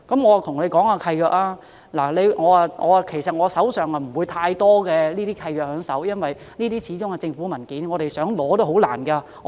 我手邊其實並無太多這類契約，因為這些始終是政府文件，我們想索取也頗困難。